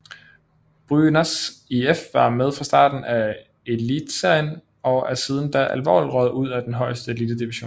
Brynäs IF var med fra starten af Elitserien og er siden da aldrig røget ud af den højeste elitedivision